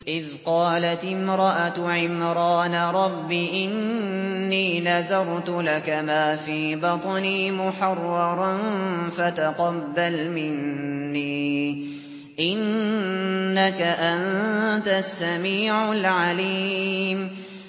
إِذْ قَالَتِ امْرَأَتُ عِمْرَانَ رَبِّ إِنِّي نَذَرْتُ لَكَ مَا فِي بَطْنِي مُحَرَّرًا فَتَقَبَّلْ مِنِّي ۖ إِنَّكَ أَنتَ السَّمِيعُ الْعَلِيمُ